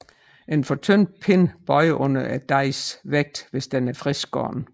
En for tynd pind bøjer under dejens vægt hvis den er friskskåret